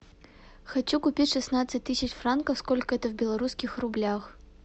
хочу купить шестнадцать тысяч франков сколько это в белорусских рублях